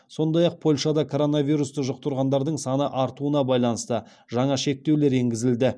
сондай ақ польшада коронавирусты жұқтырғандардың саны артуына байланысты жаңа шектеулер енгізілді